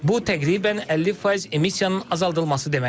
Bu təqribən 50% emissiyanın azaldılması deməkdir.